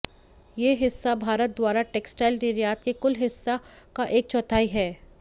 यह हिस्सा भारत द्वारा टेक्सटाइल निर्यात के कुल हिस्सा का एक चौथाई है